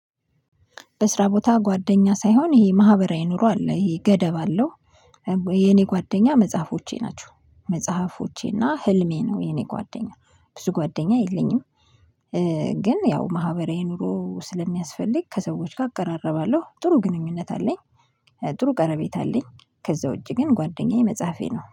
በስራ ቦታ ጓደኛ ሳይሆን ይሄ ማህበራዊ ኑሮ አለ ይሄ ገደብ አለው። የኔ ጓደኛ መጽሐፎቼ ናቸው። መጽሐፎቼና ህልሜ ነው የኔ ጓደኛ ብዙ ጓደኛ የለኝም። ግን ያው ማህበራዊ ኑሮ ስለሚያስፈልግ ከሰዎች ጋር አቀራረባለሁ ጥሩ ግንኙነት አለኝ። ጥሩ ቀረቤታ አለኝ። ከዛ ውጪ ግን ጓደኛዬ መጽሐፌ ነው